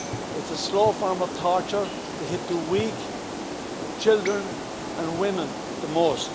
It's a slow form of torture to hit the weak children and women the most.